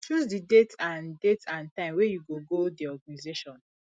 choose di date and date and time wey you go go di organisation